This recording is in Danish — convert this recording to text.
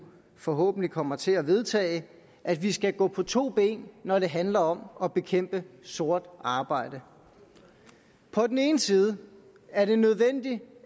forhåbentlig kommer til at vedtage at vi skal gå på to ben når det handler om at bekæmpe sort arbejde på den ene side er det nødvendigt